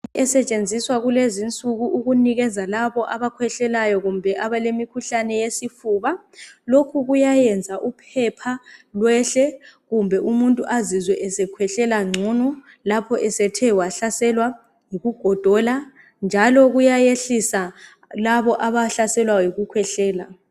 esetshenziswa kulezinsuku ukunikeza labo abakhwehlelayo kumbe abalemikhuhlane yesifuba lokhu kuyayenza uphepha lwehle kumbe umuntu ezizwe esekhwehlela ncono lapho esethe wahlaselwa yikugodola njalo kuyayehlisa labo abahlaselwa yikukhwehlela